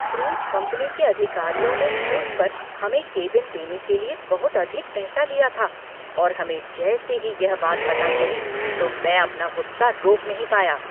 Cruise company के अधिकारियों ने क्रूज पर हमें केबिन देने के लिए बहुत अधिक पैसा लिया था और हमें जैसे ही यह पता चला तो मैं अपना गुस्सा रोक नहीं पाया।